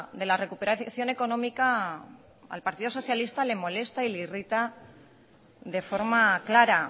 de la recuperación económica al partido socialista le molesta y le irrita de forma clara